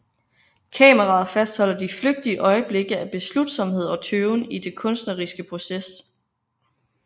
Kameraet fastholder de flygtige øjeblikke af beslutsomhed og tøven i den kunstneriske proces